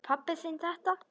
Veit pabbi þinn þetta?